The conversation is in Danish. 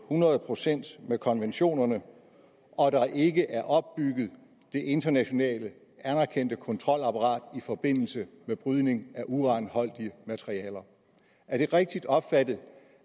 hundrede procent i med konventionerne og der ikke er opbygget det internationalt anerkendte kontrolapparat i forbindelse med brydning af uranholdige materialer er det rigtigt opfattet